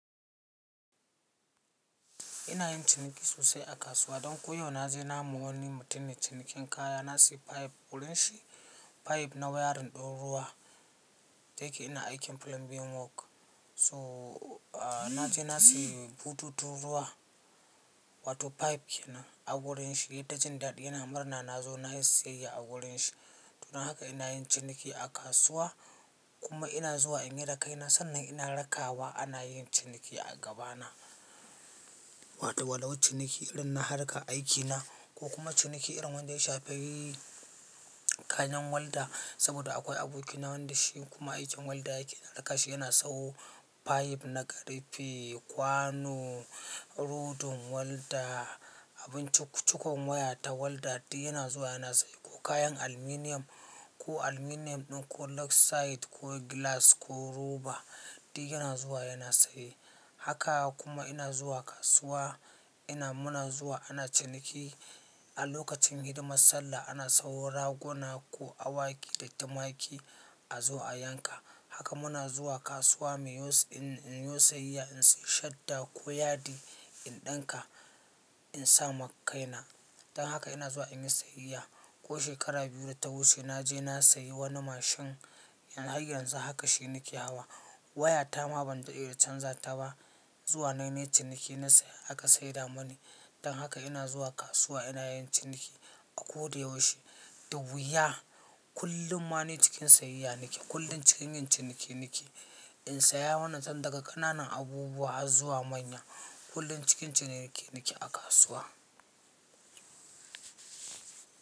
Ina yin ciniki sosai a kasuwa don ko yau. Na je na ma wani mutum ne cinikin kaya. Na sayi pipe, wurin shi pipe na wiring ɗin ruwa, da yake ina aikin plumbing work. So, na je na sayi bututun ruwa, wato pipe kenan a wurin shi. Yayi ta jin dadi, ya murna na zo na yi sayayya a wurin shi. Don haka ina yin ciniki a kasuwa kuma ina zuwa in yi da kaina. Sannan ina raka wa ana yin ciniki a gabana. Wato, walau ciniki irin na harkan aikina ko kuma ciniki irin wanda ya shafi kayan walda. Saboda akwai aboki na wanda shi kuma aikin walda yake na rakashi. Yana sayo pipe na ƙarfe, kwano, rodin walda, abin cik cikon waya ta walda. Duk yana zuwa yana saye. Ko kayan aluminum ko aluminum ɗin, ko luxite ko glass ko rubber, duk yana zuwa yana saye. Haka kuma ina zuwa kasuwa ina muna zuwa ana ciniki. A lokacin hidimar sallah ana sayo raguna ko awaki da tumaki a zo a yanka. Haka muna zuwa kasuwa muyo in in yi wo siyayya, in sayi shadda ko yadi in ɗinka in sa ma kaina. Don haka ina zuwa in yi sayayya. Ko shekara biyu da ta wuce na je na sayi wani mashin har yanzu haka shi nake hawa. Wayata ma ban dade da canza ta ba zuwa nayi ciniki na saya aka saida mani. Don haka ina zuwa kasuwa ina yin ciniki a ko da yaushe. Du wuya. Kullum ma ni cikin sayayya nake. Kullum cikin yin ciniki nake. In saya wannan can daga ƙananan abubuwa zuwa manya. Kullum cikin ciniki nake a kasuwa.